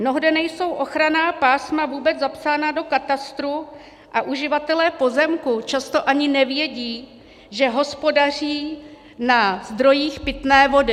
Mnohde nejsou ochranná pásma vůbec zapsána do katastru a uživatelé pozemků často ani nevědí, že hospodaří na zdrojích pitné vody.